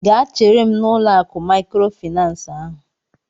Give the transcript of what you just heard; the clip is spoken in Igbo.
Gaa chere m n'ụlọ akụ maịkrofaịnans ahụ!